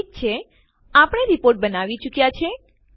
ઠીક છે આપણે રીપોર્ટ બનાવી ચુક્યાં છીએ